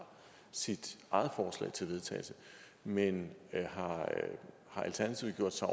sit eget forslag til vedtagelse men har alternativet gjort sig